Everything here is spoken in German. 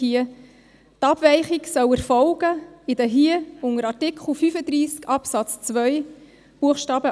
Die Abweichung soll so erfolgen, wie in den unter Artikel 35 Absatz 2 Buchstaben